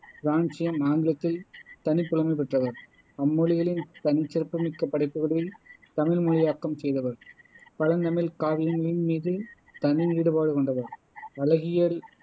francium, ஆங்கிலத்தில் தனிப்புலமை பெற்றவர் அம்மொழிகளின் தனிச்சிறப்புமிக்க படைப்புகளைத் தமிழ் மொழியாக்கம் செய்தவர் பழந்தமிழ்க் காவியங்களின் மீது தனி ஈடுபாடு கொண்டவர் அழகியல்